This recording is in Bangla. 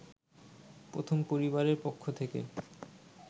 প্রথম পরিবারের পক্ষ থেকে